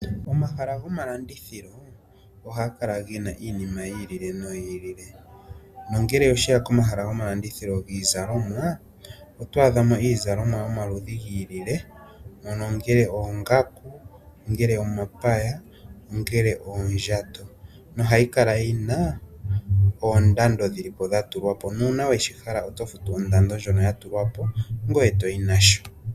Omahala gomalandithilo ohaga kala gena iinima yi ili noyi ili. Nongele osheya komahala gomalandithilo giizalomwa oto adha mo iizalomwa yomaludhi gi ili ongele oongaku, omapaya, oondjato no hayi kala yina oondando dhili po dhatulwa po nuuna weshi hala oto futu ondando ndjono ya tulwa po ngoye toyi nasho.